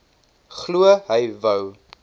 glo hy wou